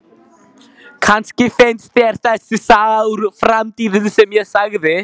Kannski finnst þér þessi saga úr framtíðinni sem ég sagði